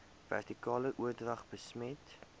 vertikale oordrag besmet